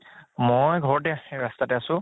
মই ঘৰতে ৰস্তাতে আছো